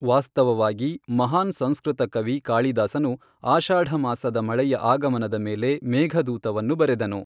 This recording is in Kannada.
ವಾಸ್ತವವಾಗಿ, ಮಹಾನ್ ಸಂಸ್ಕೃತ ಕವಿ ಕಾಳಿದಾಸನು ಆಷಾಢ ಮಾಸದ ಮಳೆಯ ಆಗಮನದ ಮೇಲೆ ಮೇಘದೂತವನ್ನು ಬರೆದನು.